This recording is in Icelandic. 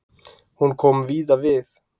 Hún kom víða við.